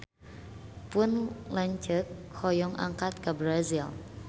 Pun lanceuk hoyong angkat ka Brazil